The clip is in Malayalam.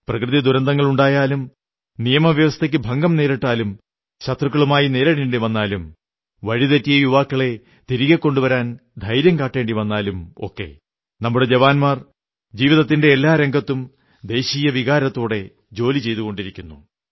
പ്രകൃതി ദുരന്തങ്ങളുണ്ടായാലും നിയമവ്യവസ്ഥയ്ക്കു ഭംഗം നേരിട്ടാലോ ശത്രുക്കളുമായി നേരിടേണ്ടി വന്നാലോ വഴി തെറ്റിയ യുവാക്കളെ തിരികെ കൊണ്ടുവരാൻ ധൈര്യം കാട്ടേണ്ടി വന്നാലോ ഒക്കെ നമ്മുടെ ജവാന്മാർ ജീവിതത്തിന്റെ എല്ലാ രംഗത്തും ദേശീയവികാരത്തോടെ ജോലി ചെയ്തുകൊണ്ടിരിക്കുന്നു